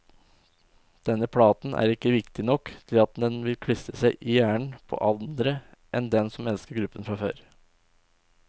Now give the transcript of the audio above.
Denne platen er ikke viktig nok til at den vil klistre seg i hjernen på andre enn dem som elsker gruppen fra før.